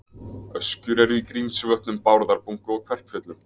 Öskjur eru í Grímsvötnum, Bárðarbungu og Kverkfjöllum.